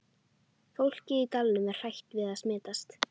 Fólkið í dalnum er hrætt við að smitast.